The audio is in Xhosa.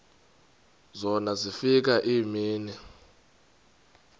zona zafika iimini